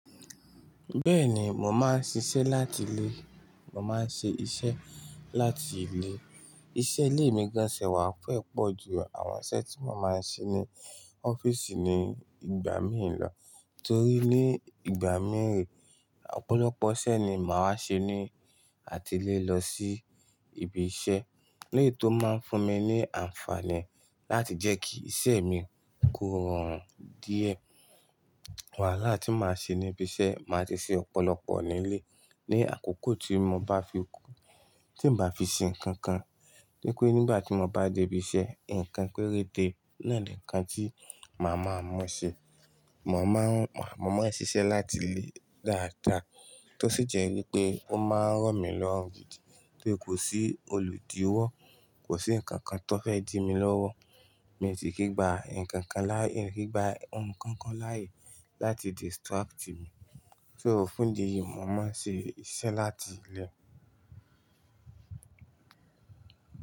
Bẹ́ẹ̀ni, mo máa ń ṣiṣẹ́ láti ilé. Mo máa ń ṣe iṣẹ́ láti ilé. Iṣẹ́ ilé mi gán ti ẹ̀ wà fe pọ̀ ju àwọn iṣẹ́ tí mo máa ń ṣe ní ọ́fíìsì ní ìgbà míì lọ. Torí ní ìgbà míì, ọ̀pọ̀lọpọ̀ iṣẹ́ ni màá ṣe ní àti ilé lọ sí ibi iṣẹ́. Léyí tó máa ń fún mi ní àǹfààní láti jẹ́ kí iṣẹ́ mi kó rọrùn díẹ̀. Wàhálà tí màá ṣe níbi iṣẹ́, màá ti ṣe ọ̀pọ̀lọpọ̀ nílé ní àkókò tí mo bá fi kú, tí n bá fi ṣe nǹkan kan. Wípé nígbà tí mo bá dé ibi iṣẹ́, nǹkan péréte náà ni nǹkan tí màá ma mu ṣe. Mò máa ń, mò máa ń ṣiṣẹ́ láti ilé dáadáa, tó sì jẹ́ wípé ó máa ń ràn mí lọ́rùn gidi torí kò sí olùdíwọ́, kò sí ǹkan kan tó fẹ́ dí mi lọ́wọ́. Mi sì kì gbà ǹkan kan láì, n kì gbà ohun kankan láàyè láti distract mi. Só fún ìdí yìí, mo máa ń ṣe iṣẹ́ láti ilé.